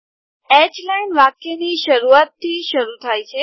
H line વાક્યની શરૂઆતથી શરૂ થાય છે